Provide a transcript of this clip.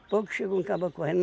Pouco chegou um cabra correndo